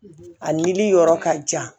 A nili yɔrɔ ka jan